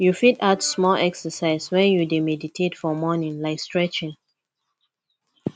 you fit add small exercise when you dey meditate for morning like stretching